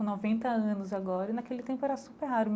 Noventa anos agora, naquele tempo era super raro.